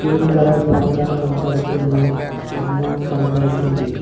Green colour పరదా కనపడుతుంది స్తంభం కనపడుతుంది.